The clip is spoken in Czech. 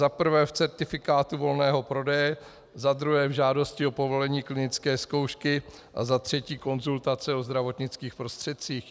Za prvé v certifikátu volného prodeje, za druhé v žádosti o povolení klinické zkoušky a za třetí konzultace o zdravotnických prostředcích.